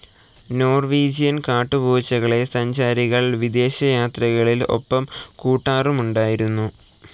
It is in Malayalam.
നോർവീജിയൻ കാട്ടുപൂച്ചകളെ സഞ്ചാരികൾ വിദേശയാത്രകളിൽ‌ ഒപ്പംകൂട്ടാറുമുണ്ടായിരുന്നു.